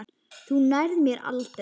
Þú nærð mér aldrei.